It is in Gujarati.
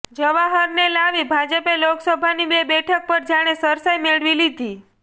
જવાહરને લાવી ભાજપે લોકસભાની બે બેઠક પર જાણે સરસાઈ મેળવી લીધી